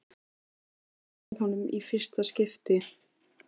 Heldur á honum í fyrsta skipti.